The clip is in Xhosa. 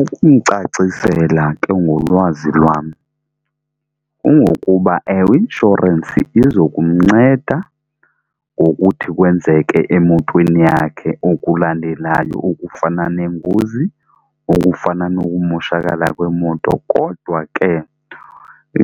Ukumcacisela ke ngolwazi lwam kungokuba ewe i-inshorensi iza kumnceda ngokuthi kwenzeke emotweni yakhe okulandelayo okufana neengozi, okufana nokumoshakala kweemoto. Kodwa ke